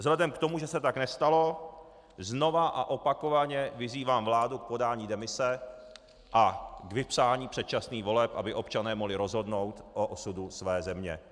Vzhledem k tomu, že se tak nestalo, znovu a opakovaně vyzývám vládu k podání demise a k vypsání předčasných voleb, aby občané mohli rozhodnout o osudu své země.